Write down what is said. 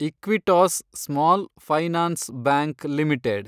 Equitas small finance bank limited